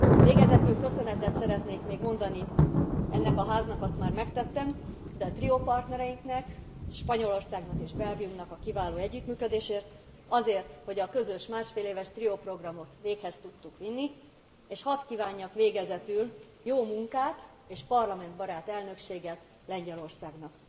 Végezetül köszönetet szeretnék még mondani nemcsak ennek a Háznak azt már megtettem de triópartnereinknek Spanyolországnak és Belgiumnak a kiváló együttműködésért, azért, hogy a közös másfél éves trióprogramot véghez tudtuk vinni, és hadd kívánjak végezetül jó munkát és parlamentbarát elnökséget Lengyelországnak.